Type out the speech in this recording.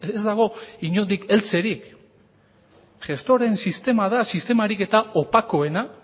ez dago inondik heltzerik gestoreen sistema da sistemarik eta opakoena